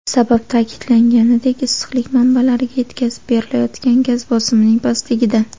Sabab, ta’kidlanganidek, issiqlik manbalariga yetkazib berilayotgan gaz bosimining pastligida.